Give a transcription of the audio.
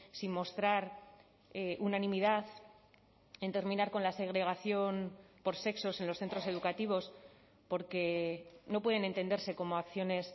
sin mostrar unanimidad en terminar con la segregación por sexos en los centros educativos porque no pueden entenderse como acciones